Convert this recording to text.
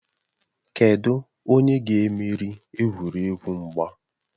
Kedụ onye ga-emeri egwuregwu mgba?